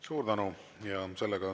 Suur tänu!